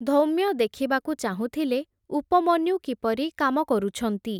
ଧୌମ୍ୟ ଦେଖିବାକୁ ଚାହୁଁଥିଲେ ଉପମନ୍ୟୁ କିପରି କାମ କରୁଛନ୍ତି ।